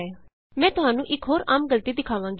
ਮੈਂ ਤੁਹਾਨੂ ਇਕ ਹੋਰ ਆਮ ਗਲਤੀ ਦਿਖਾਵਾਂਗੀ